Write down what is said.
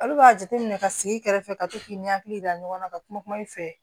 Olu b'a jateminɛ ka sigi kɛrɛfɛ ka to k'i ni hakili yira ɲɔgɔn na ka kuma kuma i fɛ